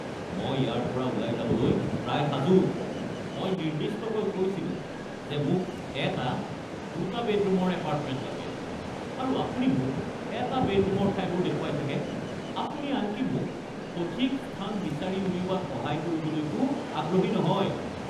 মই ইয়াৰ পৰা ওলাই যাবলৈ প্ৰায় সাজু। মই নিৰ্দিষ্টকৈ কৈছিলো যে মোক এটা দুটা বেডৰুমৰ এপাৰ্টমেণ্ট লাগে আৰু আপুনি মোক এটা বেডৰুমৰ ঠাইবোৰ দেখুৱাই থাকে। আপুনি আনকি মোক সঠিক স্থান বিচাৰি উলিওৱাত সহায় কৰিবলৈকো আগ্ৰহী নহয়।